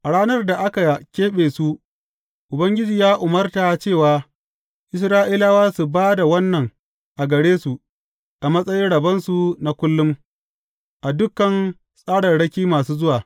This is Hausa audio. A ranar da aka keɓe su, Ubangiji ya umarta cewa Isra’ilawa su ba da wannan a gare su a matsayin rabonsu na kullum, a dukan tsararraki masu zuwa.